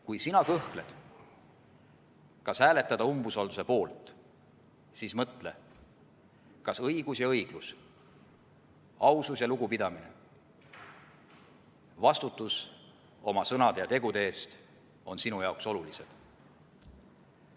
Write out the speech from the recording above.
Kui sina kõhkled, kas hääletada umbusalduse poolt, siis mõtle, kas õigus ja õiglus, ausus ja lugupidamine, vastutus oma sõnade ja tegude eest on sinu jaoks olulised.